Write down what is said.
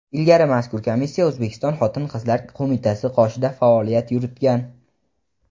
Ilgari mazkur komissiya O‘zbekiston Xotin-qizlar qo‘mitasi qoshida faoliyat yuritgan.